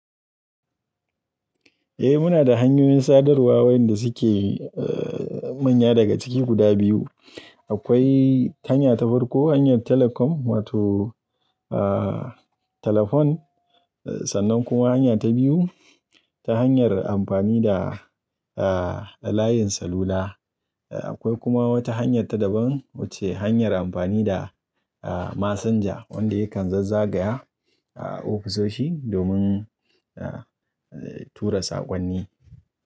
Eh muna da hanyoyin sadarwa wayanda suke manya daga ciki guda biyu. Akwai hanya ta farko hanyar Telecom wato telefon sannan kuma hanya ta biyu ta hanyar amfani da layin salula. Akwai kuma wata hanya ta daban wacce hanyar amfani da masanja wanda yakan zazzagaya ofisoshi domin tura sakonni.